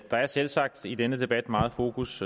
der er selvsagt i denne debat meget fokus